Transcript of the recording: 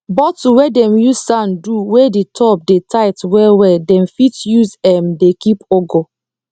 bottle wey dem use sand do wey d top dey tight well well dem fit use [um ]m dey keep ugu